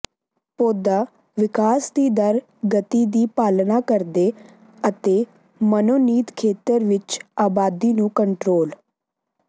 ਪੌਦਾ ਵਿਕਾਸ ਦਰ ਦੀ ਗਤੀ ਦੀ ਪਾਲਨਾ ਕਰਦੇ ਅਤੇ ਮਨੋਨੀਤ ਖੇਤਰ ਵਿੱਚ ਆਬਾਦੀ ਨੂੰ ਕੰਟਰੋਲ